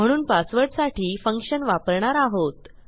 म्हणून पासवर्डसाठी फंक्शन वापरणार आहोत